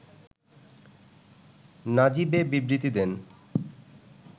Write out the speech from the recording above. নাজিব এ বিবৃতি দেন